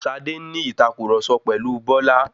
Ṣadé ń ní ìtàkurọ̀sọ pẹ̀lu Bọ́lá